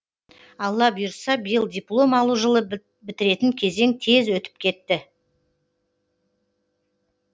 алла бұйыртса биыл диплом алу жылы бітіретін кезең тез өтіп кетті